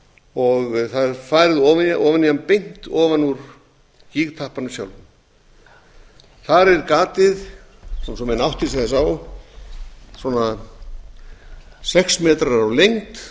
og það er farið ofan í hann beint úr gígtappanum sjálfum þar er gatið svo menn átti sig aðeins á svona sex metrar á lengd